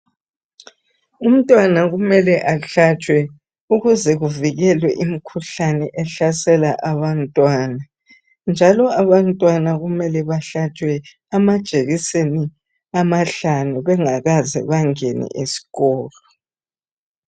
Umntwana kumele ahlatshwe ukuze kuvikelwe imikhuhlane ehlasela abantwana, njalo abantwana kumele bahlatshwe amajekiseni amahlanu bengakaze bangene esikolo.